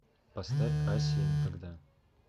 поставь асия никогда